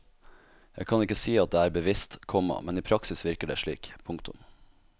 Jeg kan ikke si at det er bevisst, komma men i praksis virker det slik. punktum